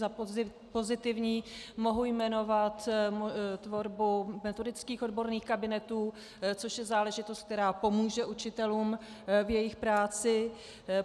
Za pozitivní mohu jmenovat tvorbu metodických odborných kabinetů, což je záležitost, která pomůže učitelům v jejich práci.